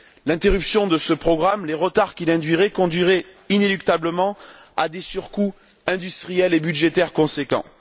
L'interruption de ce programme, les retards qu'elle induirait conduiraient inéluctablement à des surcoûts industriels et budgétaires conséquents.